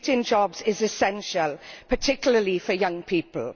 Creating jobs is essential, particularly for young people.